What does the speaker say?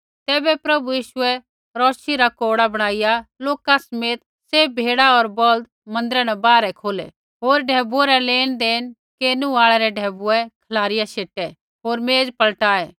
तैबै प्रभु यीशुऐ रौशी रा कोड़ा बणाईया लोका समेत सैभ भेड़ा होर बौल्द मन्दिरा न बाहरै खोलै होर ढैबुऐ रा लेनदेण केरनु आल़ै रै ढैबुऐ खलारिया शेटे होर मेज़ पलटाये